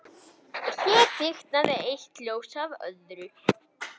Og hér kviknaði eitt ljós af öðru